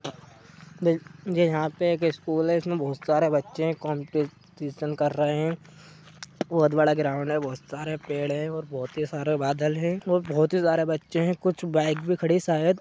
यह पे एक स्कुल है इसमें बहुत सारे बच्चे है कम्पटीशन कर रहे है बहुत बड़ा ग्राउंड है बहुत सारे पेड़ है बहुत ही सारा बादल है बहुत ही सारे बच्चे है कुछ बायक भी खड़ी है शायद--